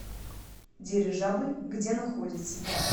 дирижабль где находится